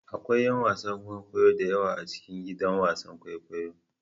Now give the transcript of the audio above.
Akwai 'yan wasan kwaikwayo da yawa a cikin gidan wasan kwaikwayo.